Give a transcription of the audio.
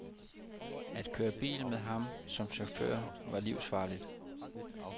At køre bil med ham som chauffør var livsfarligt.